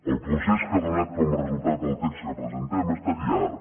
el procés que ha donat com a resultat el text que presentem ha estat llarg